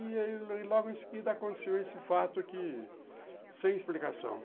E logo em seguida aconteceu esse fato que sem explicação.